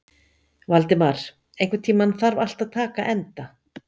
Valdimar, einhvern tímann þarf allt að taka enda.